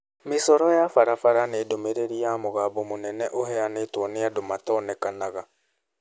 Mĩcoro ya Barbara nĩ ndũmĩrĩri ya mũgambo mũnene ĩheanĩtwo nĩ andũ matonekanaga.